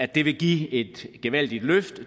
det vil give et gevaldigt løft